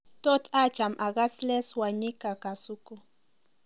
tot acham agas les wanyika kasuku